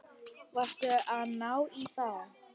Varstu að ná í þá?